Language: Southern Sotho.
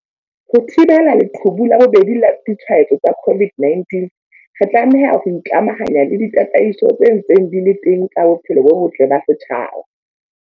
Ho thibela leqhubu la bobedi la ditshwaetso tsa COVID-19, re tlameha ho ikamahanya le ditataiso tse ntseng di le teng tsa bophelo bo botle ba setjhaba.